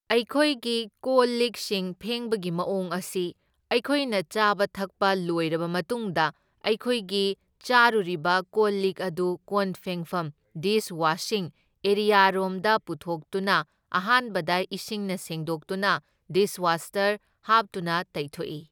ꯑꯩꯈꯣꯏꯒꯤ ꯀꯣꯜ ꯂꯤꯛꯁꯤꯡ ꯐꯦꯡꯕꯒꯤ ꯃꯑꯣꯡ ꯑꯁꯤ ꯑꯩꯈꯣꯏꯅ ꯆꯥꯕ ꯊꯛꯄ ꯂꯣꯏꯔꯕ ꯃꯇꯨꯡꯗ ꯑꯩꯈꯣꯏꯒꯤ ꯆꯥꯔꯨꯔꯤꯕ ꯀꯣꯜ ꯂꯤꯛ ꯑꯗꯨ ꯀꯣꯟ ꯐꯦꯡꯐꯝ ꯗꯤꯁ ꯋꯥꯁꯤꯡ ꯑꯦꯔꯤꯌꯥꯔꯣꯝꯗ ꯄꯨꯊꯣꯛꯇꯨꯅ ꯑꯍꯥꯟꯕꯗ ꯢꯁꯤꯡꯅ ꯁꯦꯡꯗꯣꯛꯇꯨꯅ ꯗꯤꯁꯋꯥꯁꯔ ꯍꯥꯞꯇꯨꯅ ꯇꯩꯊꯣꯛꯏ꯫